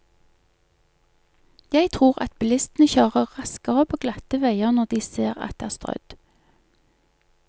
Jeg tror at bilistene kjører raskere på glatte veier når de ser at det er strødd.